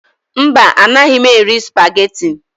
Mba, anaghị m eri supageti.